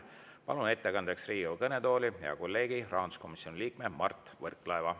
Palun ettekandeks Riigikogu kõnetooli hea kolleegi, rahanduskomisjoni liikme Mart Võrklaeva.